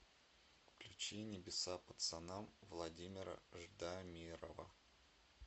включи небеса пацанам владимира ждамирова